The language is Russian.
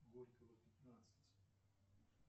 горького пятнадцать